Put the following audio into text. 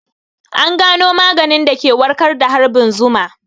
An gano maganin da ke warkar da harbin zuma